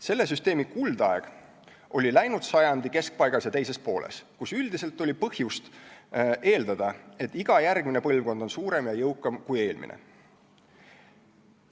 Selle süsteemi kuldaeg oli läinud sajandi keskpaigas ja teises pooles, kus üldiselt oli põhjust eeldada, et iga järgmine põlvkond on suurem ja jõukam kui eelmine.